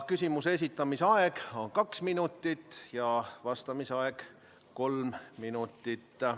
Küsimuse esitamise aeg on kaks minutit ja vastamise aeg kolm minutit.